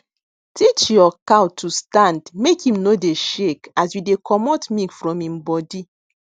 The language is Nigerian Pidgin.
teach your cow to stand make em no dey shake as you dey comot milk from em body